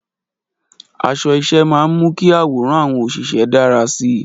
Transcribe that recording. Aṣọ iṣẹ́ máa ń mú kí àwòrán àwọn òṣìṣẹ́ dára sí i.